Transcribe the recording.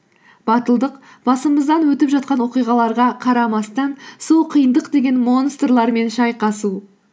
батылдық басымыздан өтіп жатқан оқиғаларға қарамастан сол қиындық деген монстрлармен шайқасу